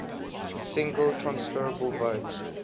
single transferable vote